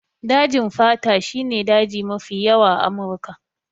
Dajin fata shi ne daji mafi yawa a Amurika.